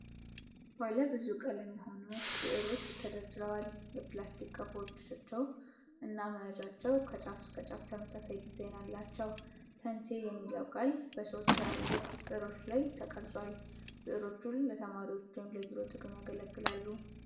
ባለ ብዙ ቀለም የሆኑ ብዕሮች ተደርድረዋል። የፕላስቲክ ቀፎአቸው እና መያዣቸው ከጫፍ እስከ ጫፍ ተመሳሳይ ዲዛይን አላቸው። 'ተንሴ' የሚለው ቃል በሶስት ትላልቅ ብዕሮች ላይ ተቀርጿል። ብዕሮቹ ለተማሪዎች ወይም ለቢሮ ጥቅም ያገለግላሉ።